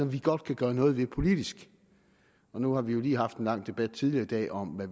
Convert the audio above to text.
vi godt kan gøre noget ved politisk nu har vi lige haft en lang debat tidligere i dag om hvad